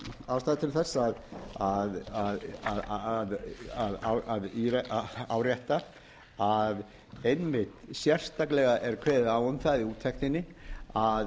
sátt skapist um strandveiðarnar ég held að sé samt ástæða til þess að árétta að einmitt sérstaklega er kveðið á um það í úttektinni að